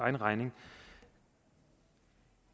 egen regning